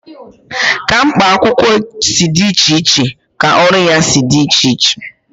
Ka mkpa akwụkwọ si dị iche iche ka ọrụ ya si dị iche iche.